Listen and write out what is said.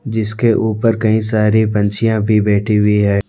जिसके ऊपर कई सारी पंछीया भी बैठी हुई हैं।